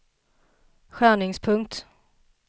skärningspunkt